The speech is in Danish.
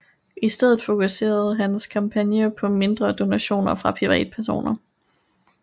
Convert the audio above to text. I stedet fokuserede hans kampagne på mindre donationer fra privatpersoner